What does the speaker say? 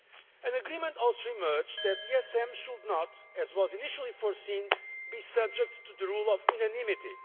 An agreement also emerged that the ESM should not, as was initially planned, be subject to the rule of unanimity.